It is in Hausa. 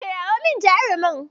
Kirawo min jarumar.